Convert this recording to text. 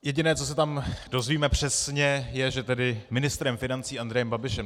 Jediné, co se tam dozvíme přesně, je, že tedy ministrem financí Andrejem Babišem.